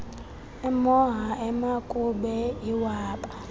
emoha emakube iwaba